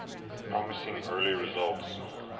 promising early results